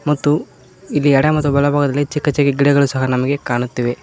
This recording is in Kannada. ಮತ್ತು ಇಲ್ಲಿ ಎಡ ಮತ್ತು ಬಲ ಭಾಗದಲ್ಲಿ ಚಿಕ್ಕ ಚಿಕ್ಕ ಗಿಡಗಳು ಸಹ ನಮಗೆ ಕಾಣುತ್ತಿವೆ.